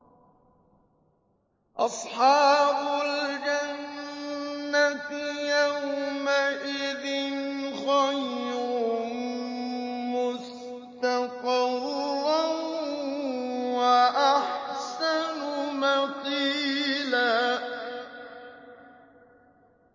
أَصْحَابُ الْجَنَّةِ يَوْمَئِذٍ خَيْرٌ مُّسْتَقَرًّا وَأَحْسَنُ مَقِيلًا